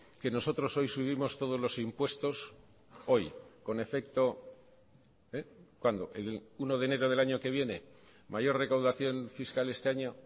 que nosotros hoy subimos todos los impuestos hoy con efecto cuándo el uno de enero del año que viene mayor recaudación fiscal este año